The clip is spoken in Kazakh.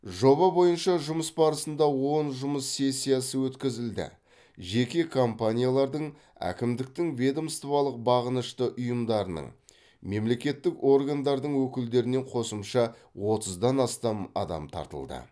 жоба бойынша жұмыс барысында он жұмыс сессиясы өткізілді жеке компаниялардың әкімдіктің ведомстволық бағынышты ұйымдарының мемлекеттік органдардың өкілдерінен қосымша отыздан астам адам тартылды